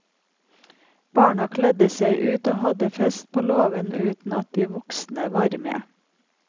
Barna kledde seg ut og hadde fest på låven uten at de voksne var med.